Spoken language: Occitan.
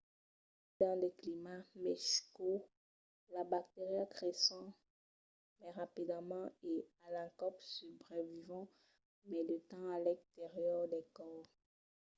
tanben dins de climats mai cauds las bacterias creisson mai rapidament e a l'encòp subrevivon mai de temps a l’exterior del còrs